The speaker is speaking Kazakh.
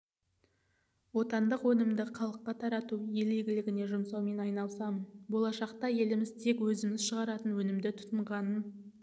отандық өнімді халыққа тарату ел игілігіне жұмсаумен айналысамын болашақта еліміз тек өзіміз шығаратын өнімді тұтынғанын